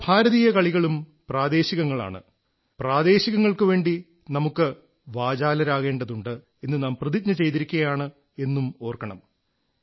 നമ്മുടെ ഭാരതീയ കളികളും പ്രാദേശികങ്ങളാണ് പ്രാദേശികങ്ങൾക്കുവേണ്ടി നമുക്ക് വാചാലരാകേണ്ടതുണ്ട് എന്നു നാം പ്രതിജ്ഞ ചെയ്തിരിക്കായാണ് എന്നതും ഓർക്കണം